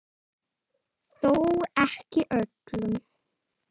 Þó ekki öllum.